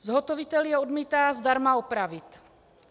Zhotovitel je odmítá zdarma opravit.